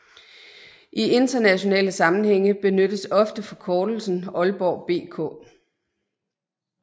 I internationale sammenhænge benyttes ofte forkortelsen Aalborg BK